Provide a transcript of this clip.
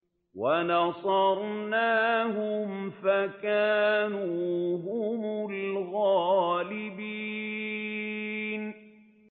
وَنَصَرْنَاهُمْ فَكَانُوا هُمُ الْغَالِبِينَ